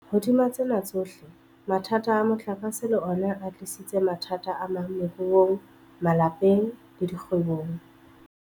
Hodima tsena tsohle, mathata a motlakase le ona a tlisitse mathata amang moruong, malapeng le dikgwebong.